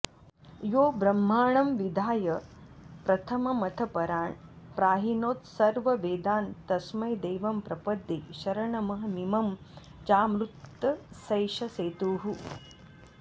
यो ब्रह्माणं विधाय प्रथममथ परान् प्राहिणोत्सर्ववेदान् तस्मै देवं प्रपद्ये शरणमहमिमं चामृतस्यैष सेतुः